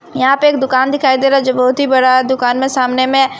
यहां पे एक दुकान दिखाई दे रहा जो बहुत ही बड़ा दुकान में सामने में--